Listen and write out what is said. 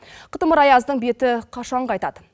қытымыр аяздың беті қашан қайтады